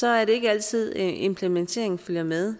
er det ikke altid implementeringen følger med